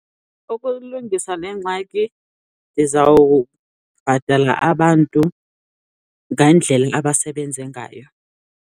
Ukulungisa le ngxaki ndizawubhatala abantu ngandlela abasebenze ngayo.